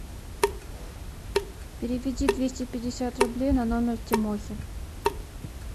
переведи двести пятьдесят рублей на номер тимохи